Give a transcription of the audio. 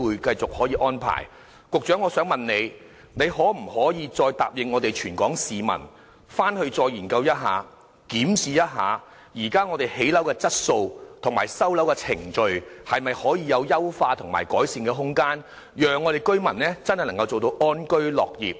局長，你可否答應全港市民會再作研究，檢視現時的建築質素及收樓程序是否有優化和改善的空間，好讓居民能夠真正安居樂業？